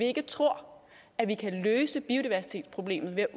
ikke tror at vi kan løse biodiversitetsproblemet ved